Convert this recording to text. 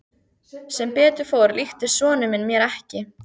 Sem betur fór líktist sonur minn mér ekki.